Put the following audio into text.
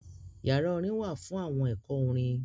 Yara orin wa fun awọn ẹkọ orin.